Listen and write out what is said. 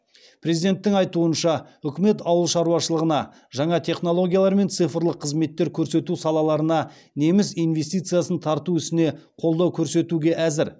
президенттің айтуынша үкімет ауыл шаруашылығына жаңа технологиялар мен цифрлық қызметтер көрсету салаларына неміс инвестициясын тарту ісіне қолдау көрсетуге әзір